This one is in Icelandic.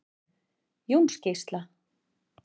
Jónsgeisla